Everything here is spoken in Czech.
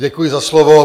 Děkuji za slovo.